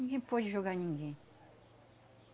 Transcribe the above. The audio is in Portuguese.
Ninguém pode jogar ninguém.